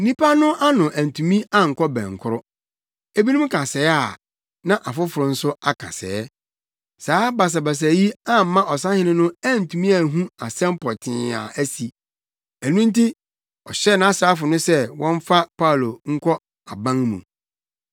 Nnipa no ano antumi ankɔ bɛnkoro; ebinom ka sɛɛ a, na afoforo nso aka sɛɛ. Saa basabasa yi amma ɔsahene no antumi anhu asɛm pɔtee a asi. Ɛno nti, ɔhyɛɛ nʼasraafo no sɛ wɔmfa Paulo nkɔ aban mu.